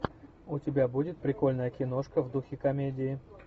у тебя будет прикольная киношка в духе комедии